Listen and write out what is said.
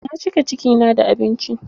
Na cika ciki na da abinci.